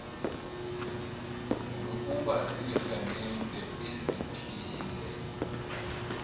nokuba ziiremente ezithile